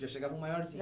Já chegava maiorzinha?